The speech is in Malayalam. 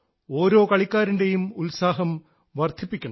ഓരോ കളിക്കാരൻറേയും ഉത്സാഹം വർദ്ധിപ്പിക്കണം